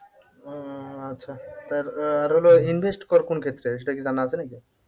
উম আচ্ছা আর আর হলো invest কোন ক্ষেত্রে সেটা কি জানা আছে নাকি?